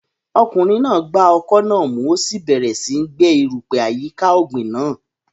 Ọkùnrin náà gba ọkọ́ náà mú, ó sì bẹ̀rẹ̀ síi gbẹ́ erùpẹ̀ àyíká ọ̀gbìn náà.